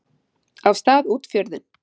af stað út fjörðinn.